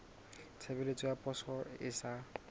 tshebeletso ya poso e sa